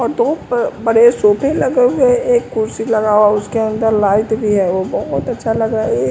और दो बड़े सोफे लगे हुए एक कुर्सी लगा हुआ उसके अंदर लाइट भी है वो बहुत अच्छा लग रहा है।